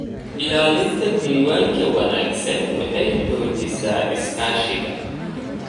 Ilaalinta diiwaanka wanaagsan waxay xoojisaa iskaashiga.